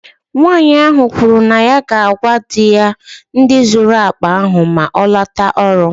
Nwanyị ahụ kwuru na ya ga-agwa di ya ndị zuru akpa ahụ maa ọ lotara ọrụ.